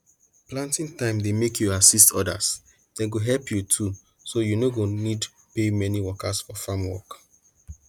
planting time dey make you assist others dem go help you too so you no go need pay many workers for farm work